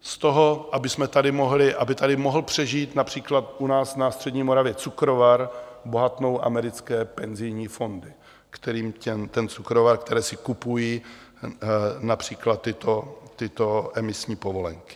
Z toho, aby tady mohl přežít například u nás na střední Moravě cukrovar, bohatnou americké penzijní fondy, kterým ten cukrovar - které si kupují například tyto emisní povolenky.